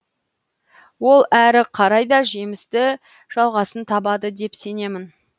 ол әрі қарай да жемісті жалғасын табады деп сенемін